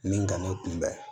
Min ka ne kunbɛn